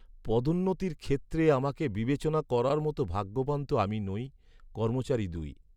পদোন্নতির ক্ষেত্রে আমাকে বিবেচনা করার মতো ভাগ্যবান তো আমি নই। কর্মচারী দুই